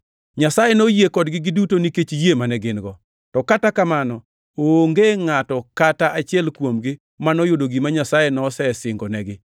Nyasaye noyie kodgi giduto nikech yie mane gin-go. To Kata kamano onge ngʼato kata achiel kuomgi manoyudo gima Nyasaye nosesingonegi,